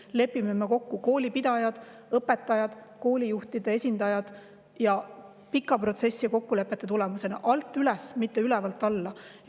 See lepitakse kokku koolipidajate, õpetajate ja koolijuhtide esindajate vahel ning pika protsessi ja kokkulepete tulemusena alt üles, mitte ülevalt alla.